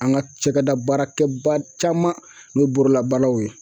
An ka cakɛda baarakɛba caman n'o ye borola baaraw ye